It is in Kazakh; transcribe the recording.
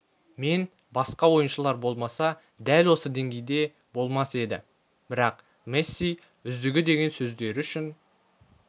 мен басқа ойыншылар болмаса дәл осы деңгейде болмас еді бірақ месси үздігі деген сөздері үшін